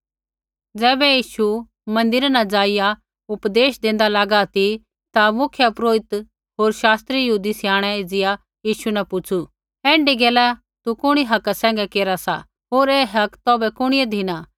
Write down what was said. ज़ैबै यीशु मन्दिरा न ज़ाइआ उपदेश देंदा लागा ती ता मुख्यपुरोहिते होर यहूदी स्याणै एज़िया यीशु न पुछ़ू ऐण्ढी गैला तू कुणी हका सैंघै केरा सा होर ऐ हक तौभै कुणिऐ धिना